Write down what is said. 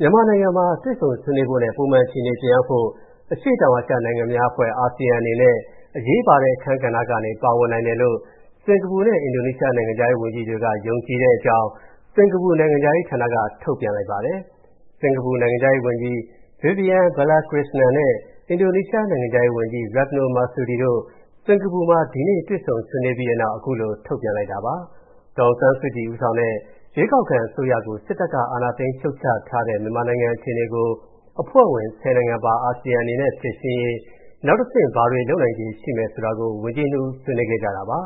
မြန်မာနိုင်ငံမှာ တွေ့ဆုံဆွေးနွေးဖို့နဲ့ ပုံမှန်အခြေအနေပြန်ရောက်ဖို့ အရှေ့တောင်အာရှနိုင်ငံများအဖွဲ့ (ASEAN) အနေနဲ့ အရေးပါတဲ့အခန်းကဏ္ဍကနေ ပါဝင်နိုင်တယ်လို့ စင်္ကာပူနဲ့ အင်ဒိုနီးရှား နိုင်ငံခြားရေးဝန်ကြီးတွေက ယုံကြည်တဲ့အကြောင်း စင်္ကာပူနိုင်ငံခြားရေးဌာနက ထုတ်ပြန်ပါတယ်။ စင်္ကာပူနိုင်ငံခြားရေးဝန်ကြီး Vivian Balakrishnan နဲ့ အင်ဒိုနီးရှားနိုင်ငံခြားရေးဝန်ကြီး Retno Marsudi တို့ စင်္ကာပူမှာ ဒီကနေ့ တွေ့ဆုံဆွေးနွေးပြီးတဲ့နောက် အဲဒီလိုထုတ်ပြန်တာပါ။ ဒေါ်အောင်ဆန်းစုကြည်ဦးဆောင်တဲ့ ရွေးကောက်ခံအစိုးရကို စစ်တပ်က အာဏာသိမ်းဖြုတ်ချထားတဲ့ မြန်မာနိုင်ငံအခြေအနေကို အဖွဲ့ဝင် ၁၀ နိုင်ငံပါ အာဆီယံအနေနဲ့ဖြေရှင်းရေး နောက်တဆင့် ဘာတွေလုပ်နိုင်ခြေရှိမယ်ဆိုတာ ဝန်ကြီးနှစ်ဦး ဆွေးနွေးခဲ့ကြပါ